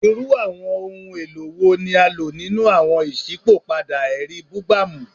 Irú àwọn ohun èlò wo ni a lò nínú àwọn iṣipopada ẹri bugbamu?